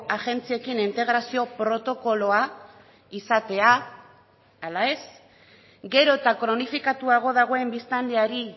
agentziekin integrazio protokoloa izatea ala ez gero eta kronifikatuago dagoen biztanleari